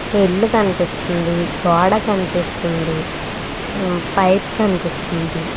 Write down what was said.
ఒక ఇల్లు కనిపిస్తుంది గోడ కనిపిస్తుంది పైప్ కనిపిస్తుంది.